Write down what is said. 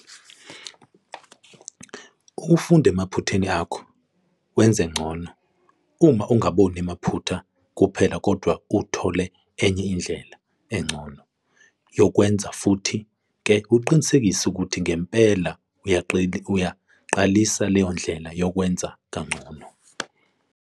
Ukufunda emaphutheni akho, wenze ngcono, uma ungaboni amaphutha kuphela kodwa thole enye indlela, engcono yokukwenza futhi ke uqinisekise ukuthi ngempela uyayiqalisa leyo ndlela 'yokwenza kangcono'.